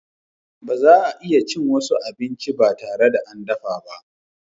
Baza a iya cin wasu abinci ba tare da an dafa ba.